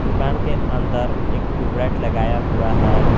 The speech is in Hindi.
दुकान के अंदर एक ट्यूबलाइट लगाया हुआ है।